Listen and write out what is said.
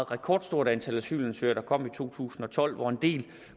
rekordstort antal asylansøgere der kom i to tusind og tolv hvoraf en del